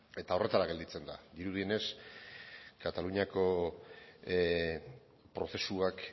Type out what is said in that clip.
eta horretara gelditzen da dirudienez kataluniako prozesuak